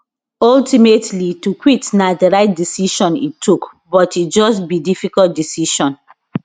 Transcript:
ultimately to quit na di right decision e tok but e just be difficult decision